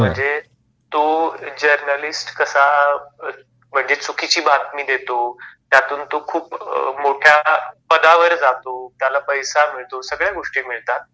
म्हणजे तो जर्नलिस्ट कसा म्हणजे चुकीची बातमी देतो, त्यातून तो खूप मोठय़ा पदावर जातो, त्याला पैसा मिळतो, सगळ्या गोष्टी मिळतात